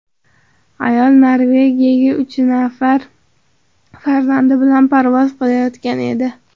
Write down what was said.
Ayol Norvegiyaga uch nafar farzandi bilan parvoz qilayotgan edi.